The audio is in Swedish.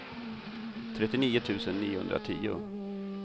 trettionio tusen niohundratio